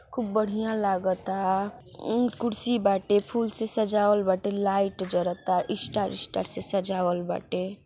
खूब बढ़िया लागता एक कुर्सी बाटे फूल से सजावल बाटे लाइट जलता स्टार स्टार से सजावल बाटे।